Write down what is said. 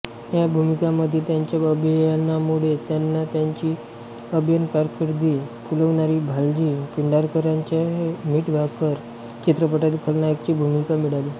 या भूमिकांमधील त्यांच्या अभिनयामुळे त्यांना त्यांची अभिनयकारकीर्द फुलवणारी भालजी पेंढारकरांच्या मीठभाकर चित्रपटातील खलनायकाची भूमिका मिळाली